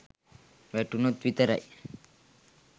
වැටුණොත් විතරයි.